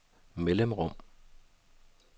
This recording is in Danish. mellemrum